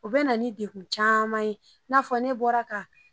U bɛ na ni degun caman ye i n'a fɔ ne bɔra ka